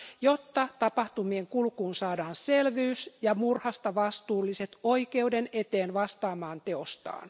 jotta tapahtumien kulkuun saadaan selvyys ja murhasta vastuulliset oikeuden eteen vastaamaan teostaan.